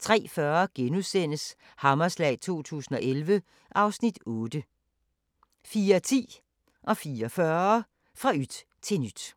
03:40: Hammerslag 2011 (Afs. 8)* 04:10: Fra yt til nyt 04:40: Fra yt til nyt